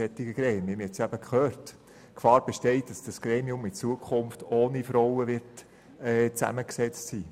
Sie haben gehört, dass die Gefahr besteht, dass dieses Gremium zukünftig ohne Frauen zusammengesetzt ist.